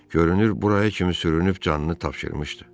Görünür buraya kimi sürünüb canını tapşırmışdı.